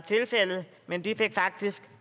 men de fik faktisk